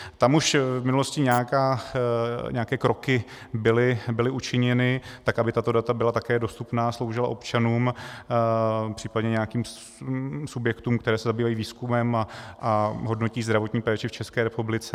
Tam už v minulosti nějaké kroky byly učiněny tak, aby tato data byla také dostupná, sloužila občanům, případně nějakým subjektům, které se zabývají výzkumem a hodnotí zdravotní péči v České republice.